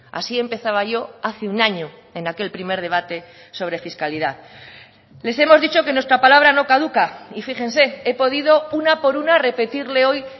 así empezaba yo hace un año en aquel primer debate sobre fiscalidad les hemos dicho que nuestra palabra no caduca y fíjense he podido una por una repetirle hoy